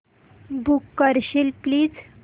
book करशील please